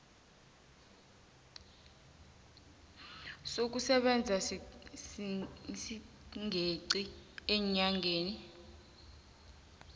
sokusebenza singeqi eenyangeni